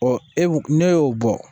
e b'o ne y'o bɔ